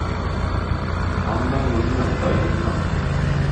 Amndoi komnyei amndaindet no.